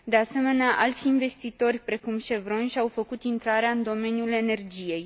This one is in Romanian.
De asemenea, alți investitori, precum Chevron, și au făcut intrarea în domeniul energiei.